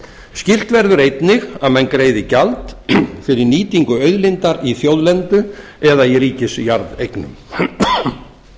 skylt verður einnig að menn greiði gjald fyrir nýtingu auðlindar í þjóðlendu eða í ríkisjarðeignum auk